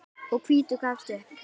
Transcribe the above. og hvítur gafst upp.